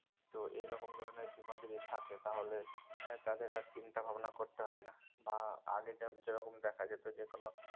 তো এ রকম ধরনের বীমা যদি থাকে তাহলে এর তাদের আর চিন্তা ভাবনা করতে হয় না বা আগে যা যে রকম দেখা যেত যে কোনো